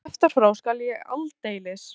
Ef þú kjaftar frá skal ég aldeilis.